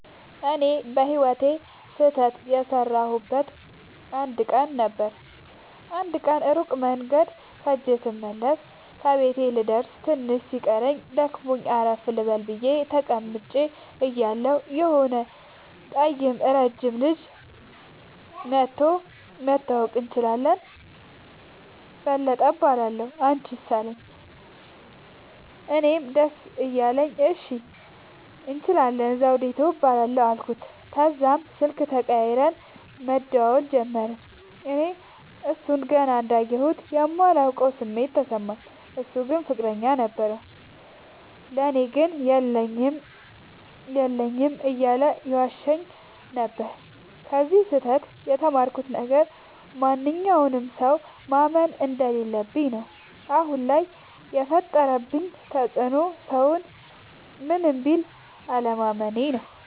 እኔ በህይወቴ ስህተት የሠረውበት አንድ ቀን ነበር። አንድ ቀን ሩቅ መንገድ ኸጀ ስመለስ ከቤቴ ልደርስ ትንሽ ሲቀረኝ ደክሞኝ አረፍ ልበል ብየ ተቀምጨ እያለሁ የሆነ ጠይም ረጅም ልጅ መኧቶ<< መተዋወቅ እንችላለን በለጠ እባላለሁ አንችስ አለኝ>> አለኝ። እኔም ደስ እያለኝ እሺ እንችላለን ዘዉዲቱ እባላለሁ አልኩት። ተዛም ስልክ ተቀያይረን መደዋወል ጀመርን። እኔ እሡን ገና እንዳየሁት የማላቀዉ ስሜት ተሰማኝ። እሡ ግን ፍቅረኛ ነበረዉ። ለኔ ግን የለኝም የለኝም እያለ ይዋሸኝ ነበር። ከዚ ስህተ ት የተማርኩት ነገር ማንኛዉንም ሠዉ ማመን እንደለለብኝ ነዉ። አሁን ላይ የፈጠረብኝ ተፅዕኖ ሠዉን ምንም ቢል አለማመኔ ነዉ።